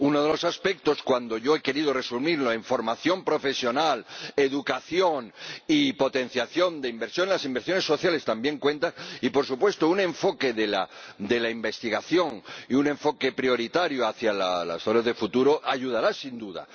Uno de los aspectos en los que yo he querido resumirlo es el de la formación profesional, la educación y la potenciación de la inversión —las inversiones sociales también cuentan—, y por supuesto, un enfoque en la investigación y un enfoque prioritario hacia las zonas de futuro ayudarán sin duda.